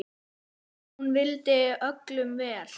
Hún vildi öllum vel.